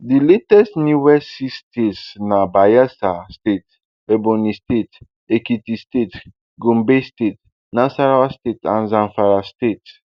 di latest newest six states na bayelsa state ebonyi state ekiti state gombe state nasarawa state and zamfara state